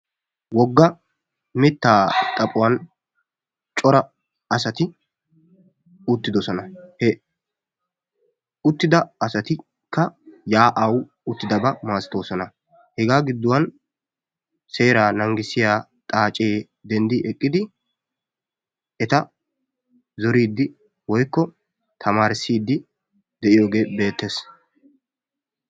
Wogga mittaa xaphuwan cora asati uttidosona. He uttida asatikka yaa'awu uttidaba masatoosona. Hegaa giddon seeraa naagissiya xaacee denddi eqqidi eta zoriiddi woykko tamaarissiiddi de'iyogee beettes.